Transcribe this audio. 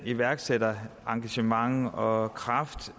iværksætterengagement og kraft